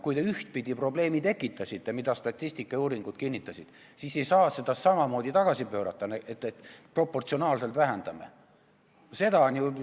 Kui te ühtpidi probleemi tekitasite – seda kinnitavad statistika ja uuringud –, siis ei saa seda samamoodi tagasi pöörata, et proportsionaalselt vähendame aktsiisi.